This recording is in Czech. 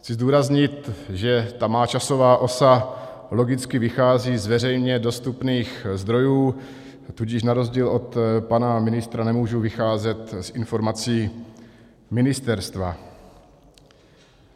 Chci zdůraznit, že ta má časová osa logicky vychází z veřejně dostupných zdrojů, tudíž na rozdíl od pana ministra nemůžu vycházet z informací ministerstva.